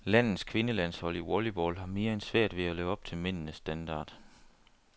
Landets kvindelandshold i volleyball har mere end svært ved at leve op til mændenes standard.